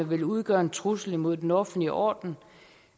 vil udgøre en trussel imod den offentlige orden